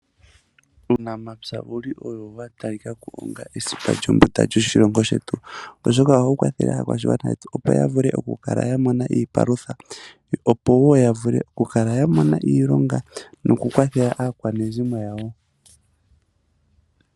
Uunamapya owuli owo yatalikako onga esipa lyombunda lyoshilongo shetu, oshoka ohawu kwathele akwashingwana yetu opo yavule okukala yamona iipalutha, opo wo yavule okukala yamona iilonga noku kwathela aakwanezimo yawo.